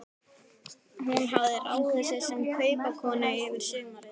Hún hafði ráðið sig sem kaupakonu yfir sumarið.